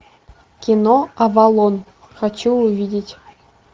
кино авалон хочу увидеть